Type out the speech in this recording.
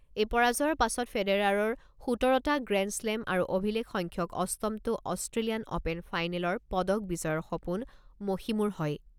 এই পৰাজয়ৰ পাছত ফেডাৰাৰৰ সোতৰটা গ্ৰেণ্ডশ্লেম আৰু অভিলেখ সংখ্যক অষ্টমটো অষ্ট্ৰেলিয়ান অ'পেন ফাইনেলাৰ পদক বিজয়ৰ সপোন মষিমুৰ হয়।